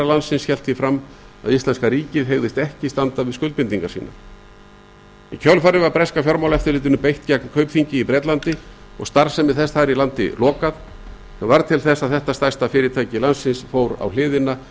landsins hélt því fram að íslenska ríkið hygðist ekki standa við skuldbindingar sínar í kjölfarið var breska fjármálaeftirlitinu beitt gegn kaupþingi í bretlandi og starfsemi þess þar í landi lokað sem varð til þess að þetta stærsta fyrirtæki landsins fór á hliðina